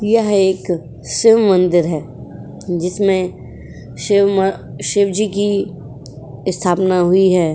यह एक शिव मंदिर है जिसमें शिव म शिवजी की स्थापना हुई है।